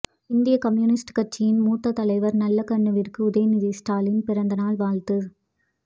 இந்திய கம்யூனிஸ்ட் கட்சியின் மூத்த தலைவர் நல்லகண்ணுவிற்கு உதயநிதி ஸ்டாலின் பிறந்தநாள் வாழ்த்து